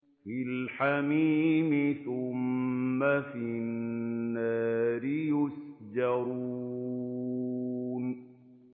فِي الْحَمِيمِ ثُمَّ فِي النَّارِ يُسْجَرُونَ